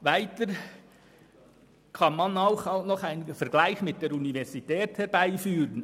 Weiter kann man einen Vergleich mit der Universität anführen: